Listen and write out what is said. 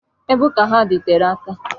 Ebe ụka ha dị tere aka.